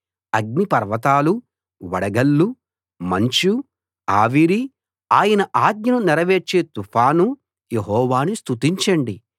అగ్నిపర్వతాలూ వడగళ్ళూ మంచూ ఆవిరీ ఆయన ఆజ్ఞను నెరవేర్చే తుఫానూ యెహోవాను స్తుతించండి